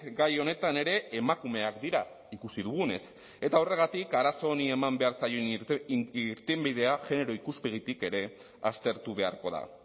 gai honetan ere emakumeak dira ikusi dugunez eta horregatik arazo honi eman behar zaion irtenbidea genero ikuspegitik ere aztertu beharko da